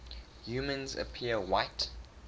humans appear white